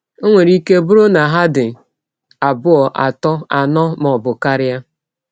Ọ nwere ike bụrụ na ha dị abụọ, atọ, anọ, ma ọ bụ karịa.